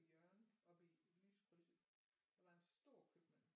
Hjørnet oppe i lyskrydset der var en stor købmand